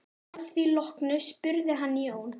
Að því loknu spurði hann Jón